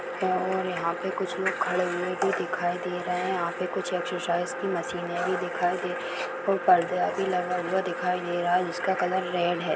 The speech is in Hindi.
और यहाँ पे कुछ लोग खड़े हुए भी दिखाई दे रहे है यहाँ पे कुछ एक्सरसाइज की मशीने भी दिखाई दे रही है पर्दा भी लगा हुआ दिखाई दे रहा है जिसका कलर रैड है।